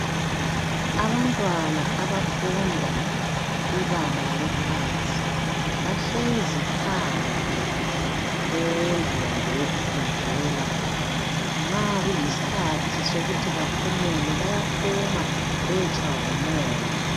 abantwana abafunda ibanga laphansi bahlezi phandle kwendlu yabo yokufundela nxa kuyisikhathi sokuthi baphumule bayaphuma bayetshaywa ngumoya